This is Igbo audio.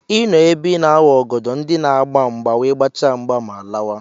I nọ ebe I na-awa ọgọdọ ndị na-agba mgba wee gbachaa mgba ma lawa.